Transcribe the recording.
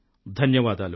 ధన్యవాదాలు